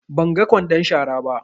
Ban ga ƙwandon shara ba.